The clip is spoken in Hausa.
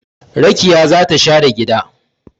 Rakiya za ta share gida